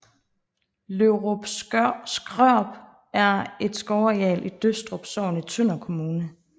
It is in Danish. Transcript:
Lovrup Skrøp er et skovareal i Døstrup Sogn i Tønder Kommune